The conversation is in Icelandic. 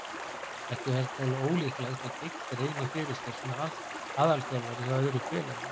Ekki er talið ólíklegt að Giggs reyni fyrir sér sem aðalþjálfari hjá öðru félagi.